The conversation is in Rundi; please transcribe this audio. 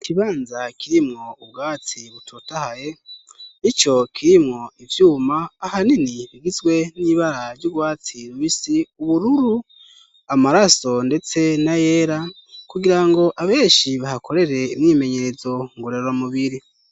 Ikibanza kirimwo ubwatsi butotahaye, ico kirimwo ivyuma ahanini bigizwe n'ibara ry'ubwatsi rubisi, ubururu, amaraso ndetse n'ayera kugirango abenshi bahakorere imyimenyerezo ngorora mubiri.